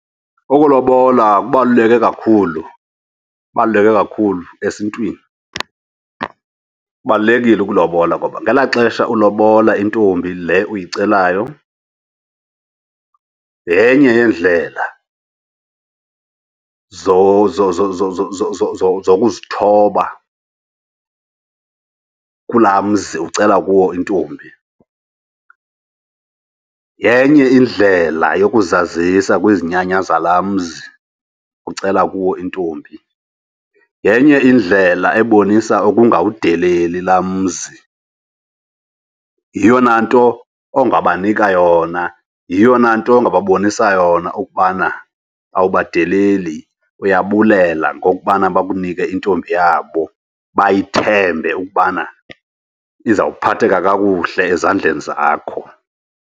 Ukulobola kubaluleke kakhulu, kubaluleke kakhulu esiNtwini. Kubalulekile ulobola ngoba ngelaa xesha ulobola intombi le uyicelayo, yenye yeendlela zokuzithoba kulaa mzi ucela kuwo intombi. Yenye indlela yokuzisa kwizinyanya zalaa mzi ucela kuwo intombi. Yenye indlela ebonisa ukungawudeleli laa mzi, yiyona nto ongabanika yona, yiyona nto ongababonisa yona ukubana awubadileli, uyabulela ngokubana bakunike intombi yabo. Bayithembe ukubana izawuphatheka kakuhle ezandleni zakho.